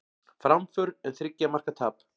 Framför en þriggja marka tap